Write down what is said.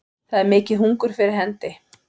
Það er mikið hungur fyrir hendi